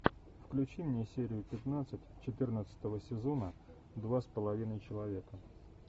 включи мне серию пятнадцать четырнадцатого сезона два с половиной человека